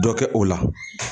Dɔ kɛ o la